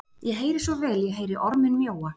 Ég heyri svo vel, ég heyri orminn mjóa,